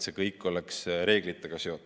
See kõik peab olema reeglitega vastavuses.